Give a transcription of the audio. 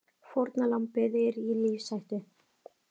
Fórnarlambið er í lífshættu